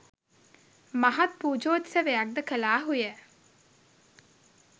මහත් පූජෝත්සවයක් ද කළාහුය.